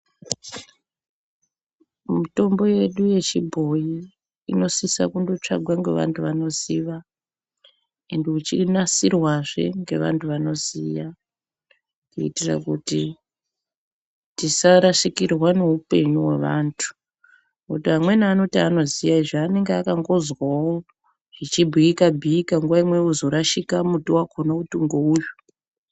Mitombo yedu yechibhoyi inosise kundotsvagwa ngevanhu vanoziva uye ichinasirwazve ngevanhu vanoziya kuitira kuti tisarashikirwa ngeupenyu hwavanhu. Ngekuti amweni anoti inoziya izvo vanenge vakangozwawo zvichibhiika bhiika nguwa imweni vozorashika kuti muti wakhona ngeuyu.